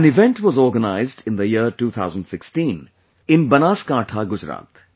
An event was organized in the year 2016 in Banaskantha, Gujarat